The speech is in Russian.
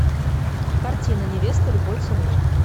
картина невеста любой ценой